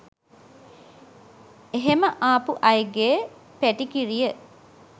එහෙම ආපු අයගේ පැටිකිරිය